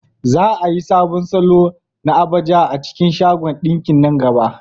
Za a yi sabon salo na agbada a cikin shagon ɗinkin nan gaba.